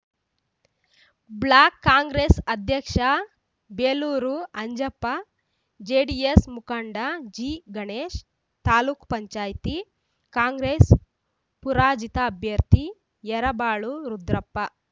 block Congress ಅಧ್ಯಕ್ಷ Belur Anjappa JDS ಮುಖಂಡ ಜಿಗಣೇಶ ತಾಲೂಕ್ ಪಂಚಾಯಿತಿ ಕಾಂಗ್ರೆಸ್‌ ಪರಾಜಿತ ಅಭ್ಯರ್ಥಿ ಯರಬಾಳು ರುದ್ರಪ್ಪ